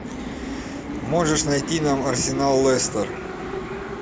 можешь найти нам арсенал лестер